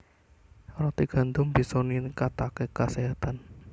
Roti gandum bisa ningkataké kaséhatan